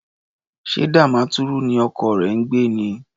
Ṣé Damaturu ni ọkọ rẹ ń gbé ni?